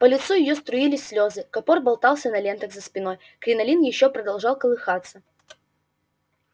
по лицу её струились слезы капор болтался на лентах за спиной кринолин ещё продолжал колыхаться